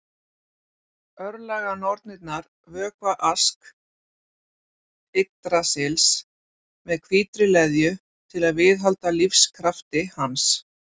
Örlaganornirnar vökva Ask Yggdrasils með hvítri leðju til að viðhalda lífskrafti hans.